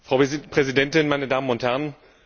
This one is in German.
Frau Präsidentin, meine Damen und Herren!